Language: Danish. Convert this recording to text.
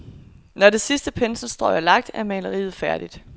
Når det sidste penselsstrøg er lagt, er maleriet færdigt.